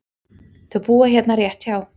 Þau búa hérna rétt hjá.